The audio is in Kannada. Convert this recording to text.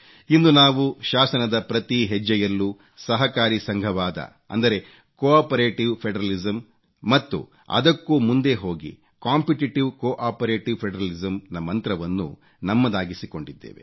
ಇಂದು ನಾವು ಶಾಸನದ ಪ್ರತಿ ಹೆಜ್ಜೆಯಲ್ಲೂ ಸಹಕಾರಿ ಸಂಘವಾದ ಅಂದರೆ ಕೋಆಪರೇಟಿವ್ ಫೆಡರಲಿಸಮ್ ಮತ್ತು ಅದಕ್ಕೂ ಮುಂದೆ ಹೋಗಿ ಮತ್ತು ಅದಕ್ಕೂ ಮುಂದೆ ಹೋಗಿ ಕಾಂಪಿಟಿಟಿವ್ ಕೋಆಪರೇಟಿವ್ ಫೆಡರಲಿಸಮ್ ನ ಮಂತ್ರವನ್ನು ನಮ್ಮದಾಗಿಸಿಕೊಂಡಿದ್ದೇವೆ